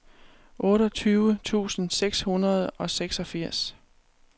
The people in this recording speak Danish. otteogtyve tusind seks hundrede og seksogfirs